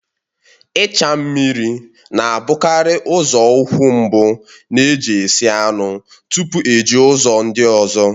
Ịcha mmiri na-abụkarị nzọụkwụ mbụ na-eji esi anụ tupu eji ụzọ ndị ọzọ